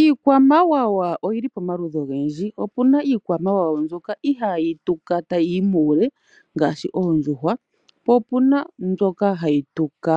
Iikwamawawa oyi li pamaludhi ogendji, opu na iikwamawawa mbyoka ihaayi tuka tayi yi muule ngaashi oondjuhwa, po opuna mbyoka hayi tuka